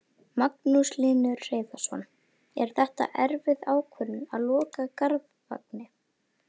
Magnús Hlynur Hreiðarsson: Er þetta erfið ákvörðun að loka Garðvangi?